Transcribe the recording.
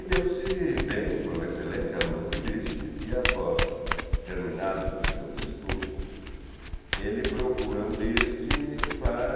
E deu-se bem, foi um excelente aluno do Liszt, e após terminados os seus estudos, ele procura o Liszt para...